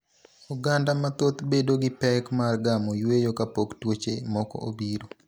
Oganda mathoth bedo gi pek mar gamo yueyo kapok tuoche moko obiro.